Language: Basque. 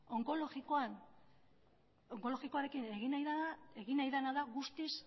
onkologikoarekin egin nahi dena da guztiz